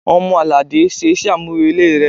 Ọmọ-alade, Ṣe iṣẹ amurele rẹ!